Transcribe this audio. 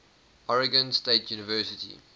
oregon state university